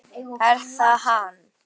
Er það hann?